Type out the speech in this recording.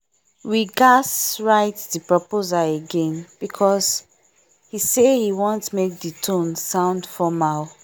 we gadz write the proposal again because he say he want make the tone sound formal